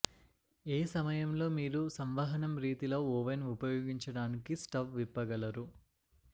ఏ సమయంలో మీరు సంవహనం రీతిలో ఓవెన్ ఉపయోగించడానికి స్టవ్ విప్పగలరు